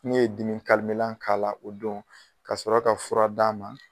N'u ye dimi k'a la o don ka sɔrɔ ka fura d'a ma.